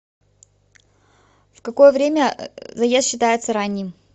в какое время заезд считается ранним